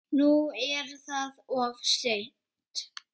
Nú er það of seint.